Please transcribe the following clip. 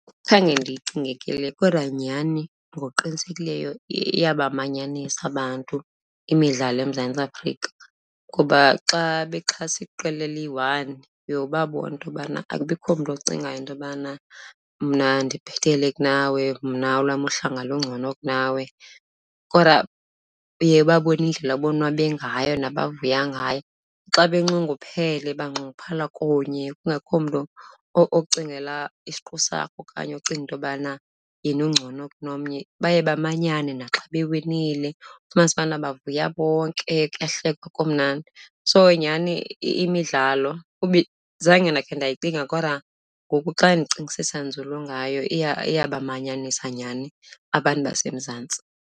Khange ndiyicinge ke le kodwa nyhani ngokuqinisekileyo iyabamanyanisa abantu imidlalo eMzantsi Afrika. Ngoba xa bexhasa iqela eliyi-one uye ubabone into yobana akubikho mntu ocingayo into yokubana mna ndibhetele kunawe, mna olwam uhlanga lungcono kunawe, kodwa uye ubabone indlela abonwabe ngayo nabavuya ngayo. Xa benxunguphele baxunguphala kunye kungekho umntu ocingela isiqu sakhe okanye ocinga into yobana yena ungcono kunomnye, baye bamanyane. Naxa bewinile ufumanise ubana bavuya bonke, kuyahlekwa kumnandi. So nyhani imidlalo, zange ndakhe ndayicinga kodwa ngoku xa ndicingisisa nzulu ngayo iyabamanyanisa nyhani abantu baseMzantsi.